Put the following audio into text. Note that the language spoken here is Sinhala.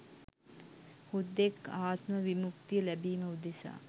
හුදෙක් ආත්ම විමුක්තිය ලැබීම උදෙසා